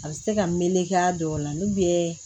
A bɛ se ka meleke a dɔw la n'u bɛ